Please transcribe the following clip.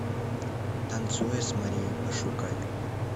танцуя с марией пошукай